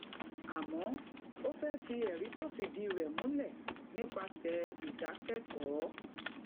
àmó ó fé rí èrí tó fìdí rè múlè nípasè ìdákékòó